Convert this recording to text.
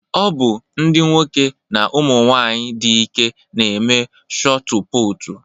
Ọ bụ ndị nwoke na ụmụ nwanyị dị ike na-eme shotu putu